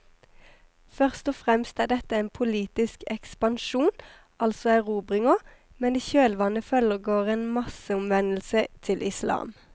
Først og fremst er dette en politisk ekspansjon, altså erobringer, men i kjølvannet følger en masseomvendelse til islam.